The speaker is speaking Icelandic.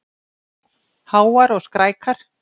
Háar og skrækar.